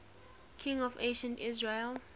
kings of ancient israel